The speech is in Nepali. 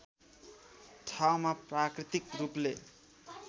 ठाउँमा प्राकृतिक रूपले